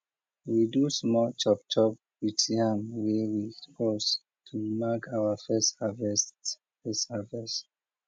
we do small chop chop with yam wey we roast to mark our first harvest first harvest